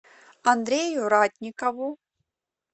андрею ратникову